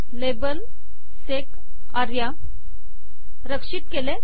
label - SEC Arya रक्षित केले